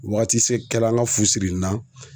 Wagatise kɛra an ŋa fu siri na